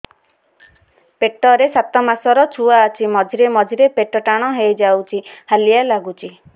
ପେଟ ରେ ସାତମାସର ଛୁଆ ଅଛି ମଝିରେ ମଝିରେ ପେଟ ଟାଣ ହେଇଯାଉଚି ହାଲିଆ ଲାଗୁଚି